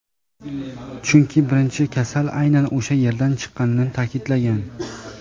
chunki birinchi kasal aynan o‘sha yerdan chiqqanini ta’kidlagan.